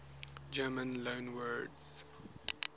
german loanwords